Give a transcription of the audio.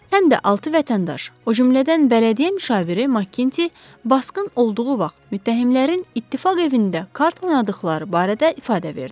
Həm də altı vətəndaş, o cümlədən bələdiyyə müşaviri MakKinti, basqın olduğu vaxt mütəhimlərin İttifaq evində kart oynadıqları barədə ifadə verdi.